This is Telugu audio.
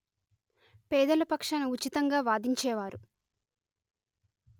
పేదల పక్షాన ఉచితంగా వాదించేవారు